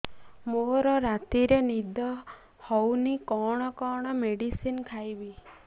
ମୋର ରାତିରେ ନିଦ ହଉନି କଣ କଣ ମେଡିସିନ ଖାଇବି